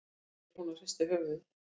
segir hún og hristir höfuðið.